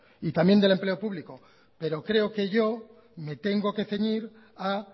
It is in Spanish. y también empleo público pero creo que yo me tengo que ceñir a